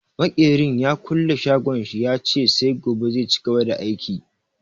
Makerin ya kulle shagon shi, ya ce sai gobe zai cigaba da aiki.